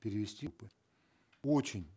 перевести бы очень